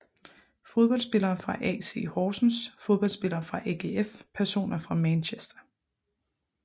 Fodboldspillere fra AC Horsens Fodboldspillere fra AGF Personer fra Manchester